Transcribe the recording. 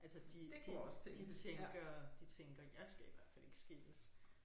Altså de de de tænker de tænker jeg skal i hvert fald ikke skilles